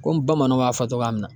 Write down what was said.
Komi bamananw b'a fɔ cogoya min na.